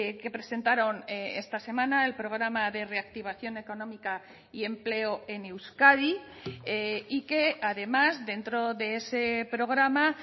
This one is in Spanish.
que presentaron esta semana el programa de reactivación económica y empleo en euskadi y que además dentro de ese programa